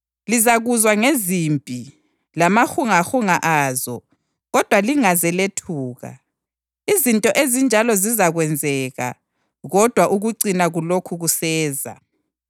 Lizakuzwa ngezimpi lamahungahunga azo, kodwa lingaze lethuka. Izinto ezinjalo zizakwenzeka, kodwa ukucina kulokhu kuseza.